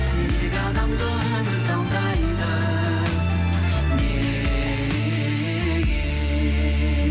неге адамды үміт алдайды неге